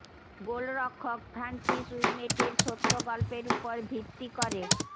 গোলরক্ষক Francis Ouimet এর সত্য গল্পের উপর ভিত্তি করে